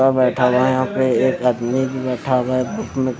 बैठा हुआ है यहां पे एक आदमी बैठा हुआ है।